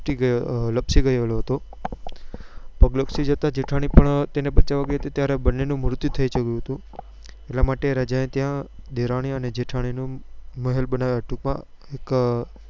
લપસી ગયેલો હતો પગ લપસી જતા જેઠાણી પણ તેને બચાવવા ગઈ હતી ત્યારે બન્ને નું મૃત્યુ થઇ ગયું હતું એટલા માટે રાજા એ ત્યાં દેરાણી અને જેઠાણી નો મહેલ બનાવ્યો હતો ટૂંક માં